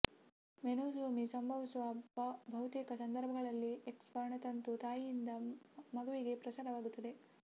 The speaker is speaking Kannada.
ಮೊನೋಸೋಮಿ ಸಂಭವಿಸುವ ಬಹುತೇಕ ಸಂದರ್ಭಗಳಲ್ಲಿ ಎಕ್ಸ್ ವರ್ಣತಂತು ತಾಯಿಯಿಂದ ಮಗುವಿಗೆ ಪ್ರಸಾರವಾಗುತ್ತದೆ